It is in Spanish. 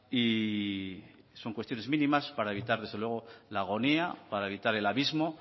y son cuestiones mínimas para evitar desde luego la agonía para evitar el abismo